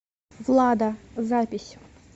влада запись